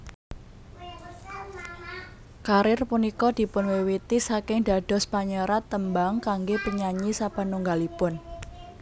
Karir punika dipunwiwiti saking dados panyerat tembang kangge penyanyi sapanunggalipun